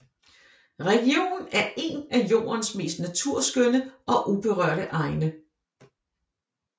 Regionen er én af jordens mest naturskønne og uberørte egne